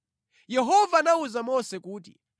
Yehova anawuza Mose kuti,